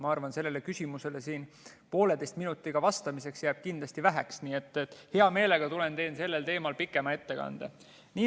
Ma arvan, et sellele küsimusele vastamiseks jääb pooleteisest minutist kindlasti väheks, nii et hea meelega tulen ja teen sellel teemal pikema ettekande.